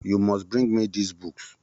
You must bring me those books